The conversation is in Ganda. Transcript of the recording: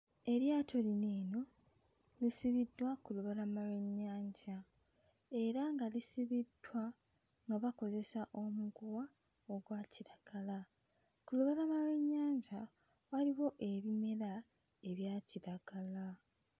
Eryato lino eno lisibiddwa ku lubalama lw'ennyanja era nga lisibiddwa nga bakozesa omuguwa ogwa kiragala. Ku lubalama lw'ennyanja waliwo ebimera ebya kiragala.